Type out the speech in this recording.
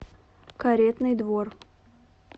каретный двор